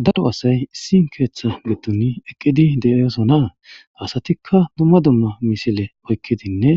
Daro asay issi keetha vidon eqaidi de'osona. Asatika dumma dumma misile oykidinne